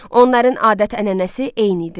Onların adət-ənənəsi eyni idi.